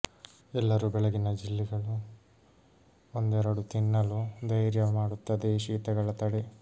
ಎಲ್ಲರೂ ಬೆಳಗಿನ ಬಿಲ್ಲೆಗಳು ಒಂದೆರಡು ತಿನ್ನಲು ಧೈರ್ಯ ಮಾಡುತ್ತದೆ ಶೀತಗಳ ತಡೆ